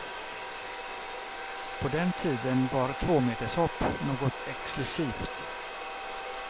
På den tiden var tvåmetershopp något exklusivt.